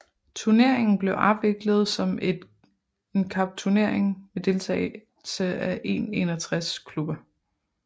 Turneringen blev afviklet som en cupturnering med deltagelse af 161 klubber